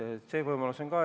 See võimalus on.